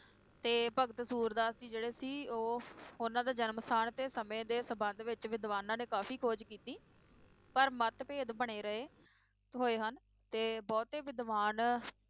ਤੇ ਭਗਤ ਸੂਰਦਾਸ ਜੀ ਜਿਹੜੇ ਸੀ, ਉਹ ਉਹਨਾਂ ਦੇ ਜਨਮ ਸਥਾਨ ਤੇ ਸਮੇ ਦੇ ਸੰਬੰਧ ਵਿਚ ਵਿਦਵਾਨਾਂ ਨੇ ਕਾਫੀ ਖੋਜ ਕੀਤੀ ਪਰ ਮਤਭੇਦ ਬਣੇ ਰਹੇ ਹੋਏ ਹਨ ਤੇ ਬਹੁਤੇ ਵਿਦਵਾਨ